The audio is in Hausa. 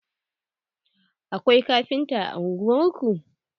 Akwai kafinta a ungwar ku?